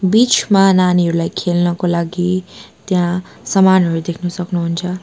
बीचमा नानीहरूलाई खेल्नको लागि त्यहाँ सामानहरू देख्न सक्नुहुन्छ।